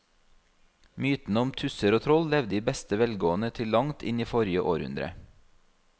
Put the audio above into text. Mytene om tusser og troll levde i beste velgående til langt inn i forrige århundre.